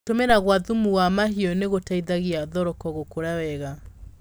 Gũtũmĩra gwa thumu wa mahiũ nĩgũteithagia thoroko gũkũra wega.